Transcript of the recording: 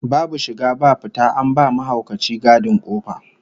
Babu shiga babu fita, an ba mahaukaci gadin kofa